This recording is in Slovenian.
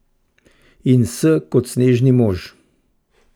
In S kot sneženi mož!